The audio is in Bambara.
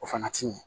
O fana ti ɲɛ